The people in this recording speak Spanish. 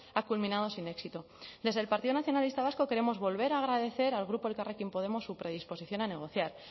ha culminado sin éxito desde el partido nacionalista vasco queremos volver a agradecer al grupo elkarrekin podemos su predisposición a negociar